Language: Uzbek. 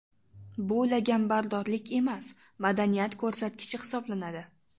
Bu laganbardorlik emas, madaniyat ko‘rsatkichi hisoblanadi.